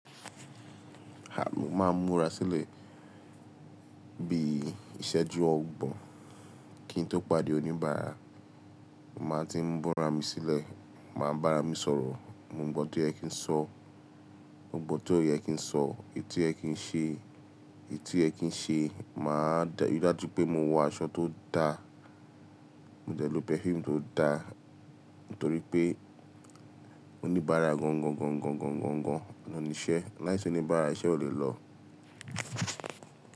À mó máa ń múra sílẹ̀ bí i ìsẹ́jú ọgbọ̀n kín tó pàdé oníbàárà. Mo máa ń tí múra mi sílẹ̀, màá bára mi sọ̀rọ̀, mo mọ ohun tó yẹ kí n sọ, ohun tí ó yẹ kí n sọ, èyí tó yẹ kín ṣe, èyí tí ó yẹ kín ṣe. Mà á deri dájú pé mo wọ aṣọ tó da, mo dẹlọ pẹ̀fuumù tó da, nítorí pé oníbàárà gangan gan gan gan gan oun níṣẹ́. Láìsí oníbàárà iṣẹ́ ò lè lọ.